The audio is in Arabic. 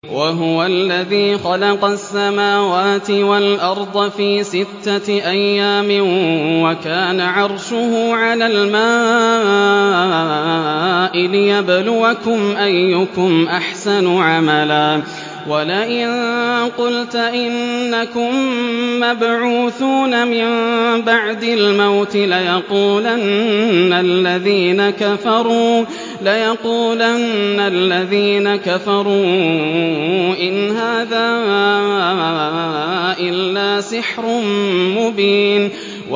وَهُوَ الَّذِي خَلَقَ السَّمَاوَاتِ وَالْأَرْضَ فِي سِتَّةِ أَيَّامٍ وَكَانَ عَرْشُهُ عَلَى الْمَاءِ لِيَبْلُوَكُمْ أَيُّكُمْ أَحْسَنُ عَمَلًا ۗ وَلَئِن قُلْتَ إِنَّكُم مَّبْعُوثُونَ مِن بَعْدِ الْمَوْتِ لَيَقُولَنَّ الَّذِينَ كَفَرُوا إِنْ هَٰذَا إِلَّا سِحْرٌ مُّبِينٌ